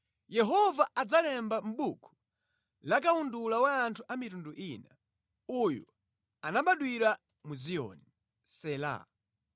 Yehova adzalemba mʼbuku la kawundula wa anthu a mitundu ina: “Uyu anabadwira mʼZiyoni.” Sela